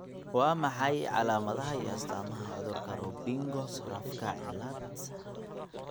Waa maxay calaamadaha iyo astaamaha cudurka Robingo Sorafka ciaad?